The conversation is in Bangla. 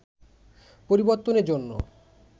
পরিবর্তনের জন্য